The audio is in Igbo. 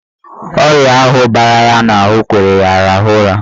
Oyi ahụ bara ya n'ahụ kwere ya rahụọ ụra.